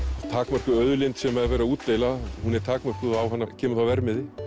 takmörkuð auðlind sem er verið að útdeila hún er takmörkuð og á hana kemur þá verðmiði